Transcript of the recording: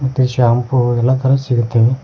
ಮತ್ತು ಶಾಂಪು ಹಾಗೆ ಎಲ್ಲ ತರ ಸಿಗುತ್ತವೆ.